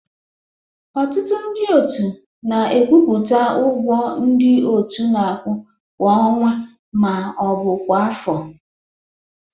Ọtụtụ ndị otu na-ekwupụta ụgwọ ndị otu na-akwụ kwa ọnwa ma ọ bụ kwa afọ